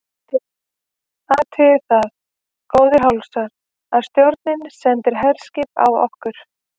MATTHÍAS: Athugið það, góðir hálsar, að stjórnin sendir herskip á okkur!